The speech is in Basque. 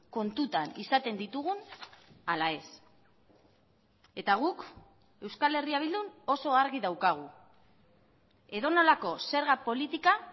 kontutan izaten ditugun ala ez eta guk euskal herria bildun oso argi daukagu edonolako zerga politika